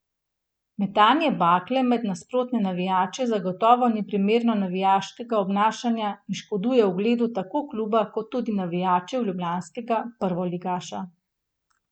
Metanje bakle med nasprotne navijače zagotovo ni primerno navijaško obnašanje in škoduje ugledu tako kluba kot tudi navijačev ljubljanskega prvoligaša.